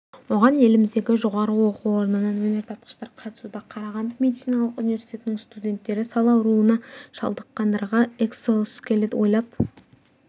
оған еліміздегі жоғары оқу орнынан өнертапқыштар қатысуда қарағанды медициналық университетінің студенттері сал ауруына шалдыққандарға экзоскелет ойлап